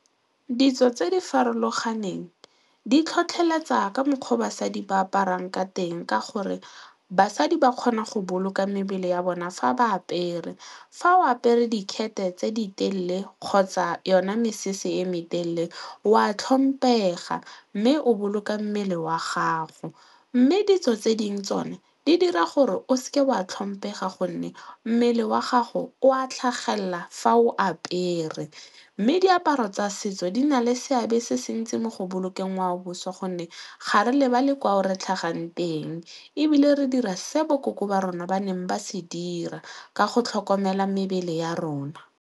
Ditso tse di farologaneng di tlhotlheletsa ka mokgwa o basadi ba aparang ka teng ka gore basadi ba kgona go boloka mebele ya bona fa ba apere. Fa o apere dikgethe tse di telele kgotsa yona mesese e me telele wa tlhoma pega mme o boloka mmele wa gago mme ditso tse dingwe tsone di dira gore o seke oa a tlhomphe ga gonne mmele wa gago o a tlhagelela fa o apere mme diaparo tsa setso setso di na le seabe se se ntsi mo go bolokeng ngwaoboswa gonne ga re lebale kwa o re tlhagang teng ebile re dira se bo ko gore ba rona ba neng ba se dira ka go tlhokomela mebele ya rona.